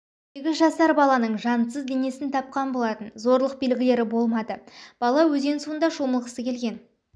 сегіз жасар балалның жансыз денесіз тапқан болатын зорлық белгілері болмады бала өзен суында шомылғысы келген